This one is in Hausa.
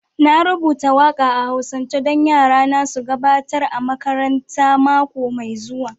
Na rubuta waka a'Hausance don yarana su gabatar a makaranta mako mai zuwa